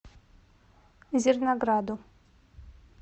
зернограду